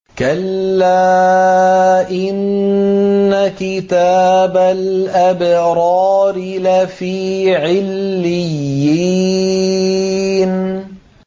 كَلَّا إِنَّ كِتَابَ الْأَبْرَارِ لَفِي عِلِّيِّينَ